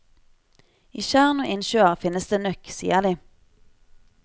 I tjern og innsjøer finnes det nøkk, sier de.